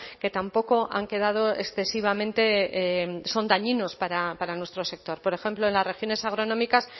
que tampoco han quedado excesivamente son dañinos para nuestro sector por ejemplo en las regiones agronómicas